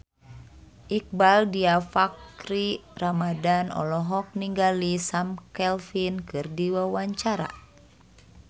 Iqbaal Dhiafakhri Ramadhan olohok ningali Sam Claflin keur diwawancara